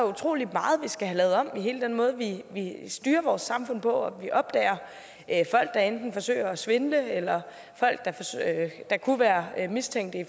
utrolig meget vi skal have lavet om i hele den måde vi styrer vores samfund på vi opdager folk der enten forsøger at svindle eller folk der kunne være mistænkt